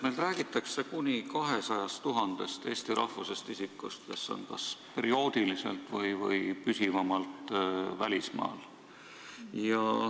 Meil räägitakse kuni 200 000-st eesti rahvusest isikust, kes on kas perioodiliselt või püsivamalt välismaal.